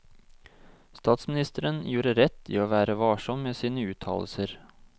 Statsministeren gjorde rett i å være varsom med sine uttalelser.